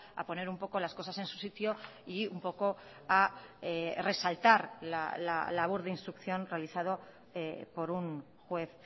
a poner un poco las cosas en su sitio y un poco a resaltar la labor de instrucción realizado por un juez